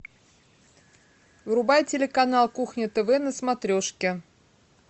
врубай телеканал кухня тв на смотрешке